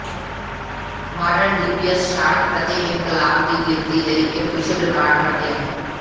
model DBS shot ਪ੍ਰਤੀ ਇਨਕਲਾਬ ਦੀ ਗਿਣਤੀ ਲਈ ਇੱਕ ਵਿਸ਼ਵ ਰਿਕਾਰਡ ਬਣ ਗਿਆ ਹੈ